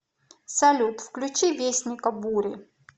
салют включи вестника бури